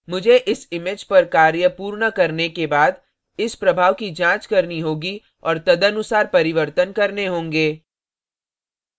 मुझे इस image पर कार्य पूर्ण करने के बाद इस प्रभाव की जांच करनी होगी और तदनुसार परिवर्तन करने होंगे